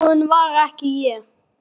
En viðbúin var ég ekki.